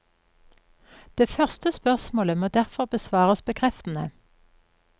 Det første spørsmålet må derfor besvares bekreftende.